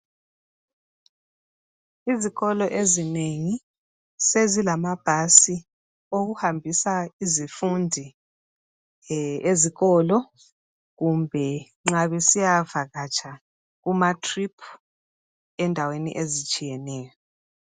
Izikolo ezinengi sezilamabhasi okuhambisa izifundi ezikolo .Kumbe nxa besiyavakatsha Kuma trip endaweni ezitshiyeneyo.